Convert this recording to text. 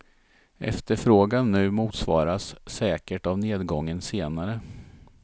Efterfrågan nu motsvaras säkert av nedgången senare.